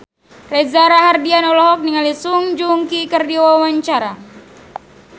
Reza Rahardian olohok ningali Song Joong Ki keur diwawancara